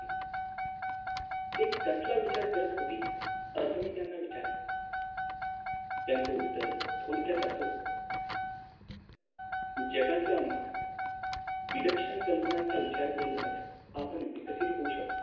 ते कसला विचार करत होते असं मी त्यांना विचारलं त्यांचं उत्तर थोडक्यात असं होत! जगातल्या महान विलक्षण कल्पनांचा विचार करूनच आपण विकसित होऊ शकतो